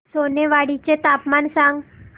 सोनेवाडी चे तापमान सांग